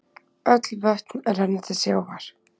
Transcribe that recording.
Öll vötn renna til sjávar.